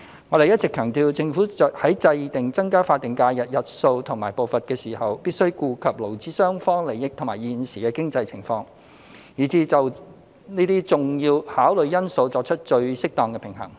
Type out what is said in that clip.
我們一直強調，政府在制訂增加法定假日日數和步伐時，必須顧及勞資雙方利益及現時的經濟情況，並就這些重要考慮因素作出最適當的平衡。